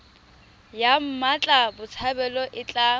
ya mmatla botshabelo e tla